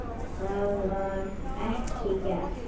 Það var ekki gert.